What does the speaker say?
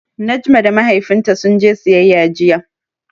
Najma da Mahaifinta sun je siyayya jiya.